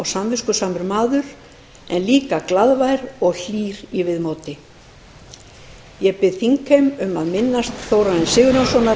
samviskusamur maður en líka glaðvær og hlýr í viðmóti ég bið þingheim um að minnast þórarins sigurjónssonar með því að rísa úr sætum